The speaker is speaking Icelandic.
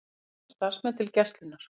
Verkefni og starfsmenn til Gæslunnar